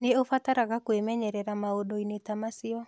Nĩ ũbataraga kwĩmenyerera maũndũ-inĩ ta macio.